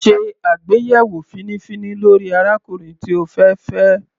Sé àgbéyẹ̀wò fínífíní lórí arákùnrin tí o fẹ́ fẹ́.